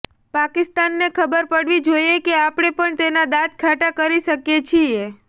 પાકિસ્તાનને ખબર પડવી જોઇએ કે આપણે પણ તેના દાંત ખાટા કરી શકીએ છીએ